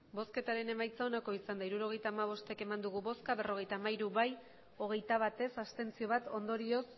emandako botoak hirurogeita hamabost bai berrogeita hamairu ez hogeita bat abstentzioak bat ondorioz